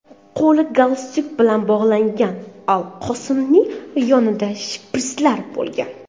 Qo‘li galstuk bilan bog‘langan Al Qosimining yonida shpirtslar bo‘lgan.